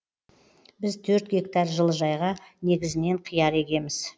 біз төрт гектар жылыжайға негізінен қияр егеміз